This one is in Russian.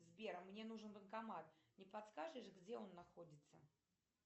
сбер мне нужен банкомат не подскажешь где он находится